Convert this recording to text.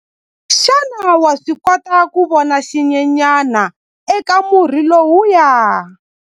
Xana wa swi kota ku vona xinyenyana eka murhi lowuya?